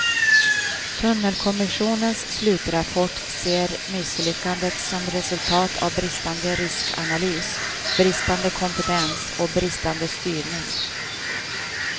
Tunnelkommissionens slutrapport ser misslyckandet som resultat av bristande riskanalys, bristande kompetens och bristande styrning.